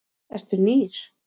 Eru nýr?